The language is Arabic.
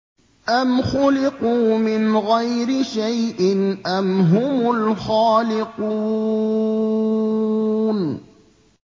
أَمْ خُلِقُوا مِنْ غَيْرِ شَيْءٍ أَمْ هُمُ الْخَالِقُونَ